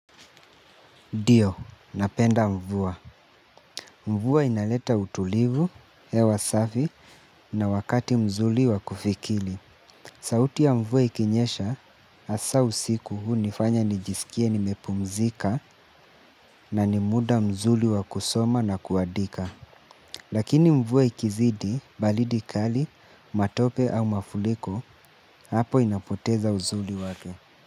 Ndio, napenda mvua. Mvua inaleta utulivu, hewa safi na wakati mzuri wa kufikiri. Sauti ya mvua ikinyesha hasa usiku hunifanya nijisikie nimepumzika na ni muda mzuri wa kusoma na kuandika. Lakini mvua ikizidi, baridi kali, matope au mafuriko, hapo inapoteza uzuri wake.